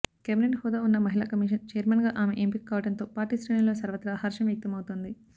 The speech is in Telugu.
కేబినెట్ హోదా ఉన్న మహిళా కమిషన్ ఛైర్మన్గా ఆమె ఎంపిక కావటంతో పార్టీ శ్రేణుల్లో సర్వత్రా హర్షం వ్యక్త మవుతోంది